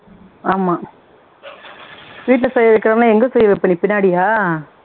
ஆமா வீட்ல செய்ய வைக்காம எங்க செய்ய வைப்ப பின்னாடியா